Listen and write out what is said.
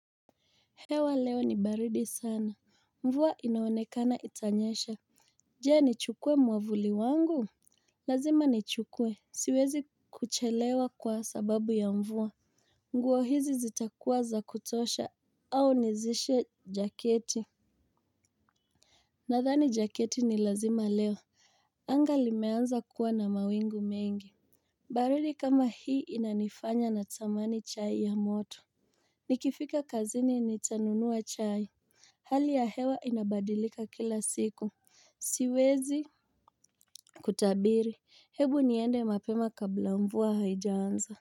Hewa leo ni baridi sana, mvua inaonekana itanyesha. Je nichukue mwavuli wangu. Lazima nichukue, siwezi kuchelewa kwa sababu ya mvua. Nguo hizi zitakuwa za kutosha au nizishe jaketi. Nathani jaketi ni lazima leo. Angali meanza kuwa na mawingu mengi. Baridi kama hii inanifanya na tamani chai ya moto nikifika kazini nitanunua chai. Hali ya hewa inabadilika kila siku. Siwezi kutabiri ebu niende mapema kabla mvua haijaanza.